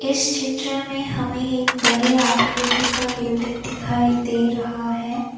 इस चित्र में हमें एक बड़े आकृति का बिल्डिंग दिखाई दे रहा है।